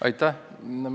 Aitäh!